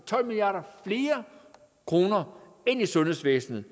tolv milliard kroner mere ind i sundhedsvæsenet